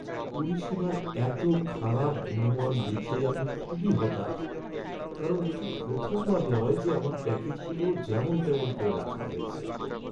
পরিষেবার এতো খারাপ গুণমান দেখে আমি খুবই হতাশ, কারণ এটা প্রথমবার নয় যে আমার প্যাকেজগুলো যেমন তেমন করে রাখা হয়েছে!